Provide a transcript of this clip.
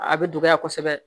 A bɛ dɔgɔya kosɛbɛ